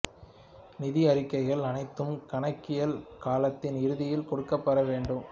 நிதி அறிக்கைகள் அனைத்தும் கணக்கியல் காலத்தின் இறுதியில் கொடுக்கப்பெற வேண்டும்